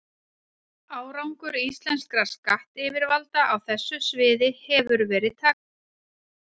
Árangur íslenskra skattyfirvalda á þessu sviði hefur verið takmarkaður.